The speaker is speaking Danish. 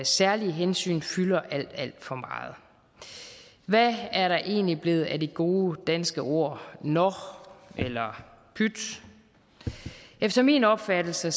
særlige hensyn fylder alt alt for meget hvad er der egentlig blevet af de gode danske ord nå eller pyt efter min opfattelse